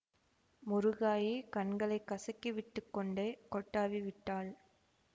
முருகாயி கண்களை கசக்கிவிட்டுக் கொண்டே கொட்டாவி விட்டாள்